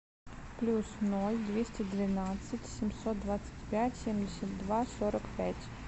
плюс ноль двести двенадцать семьсот двадцать пять семьдесят два сорок пять